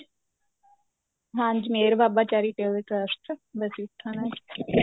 ਹਾਂਜੀ Mehar Baba charitable trust Bassi Pathana ਚ ਠੀਕ ਏ